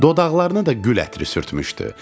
Dodaqlarına da gül ətri sürtmüşdü.